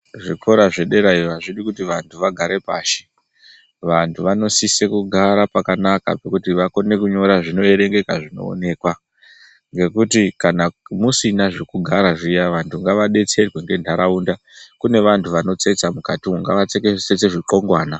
Zvikora zve derayo azvidi kuti vantu vagare pashi vantu vanosise kugara pakanaka pekuti vakone kunyora zvino erengeka zvino onekwa ngekuti kana musina zvekugara zviya vantu ngava detserwe nge ndaraunda kune vantu vano tsetsa mukati umu ngava tsetse zvikongwana.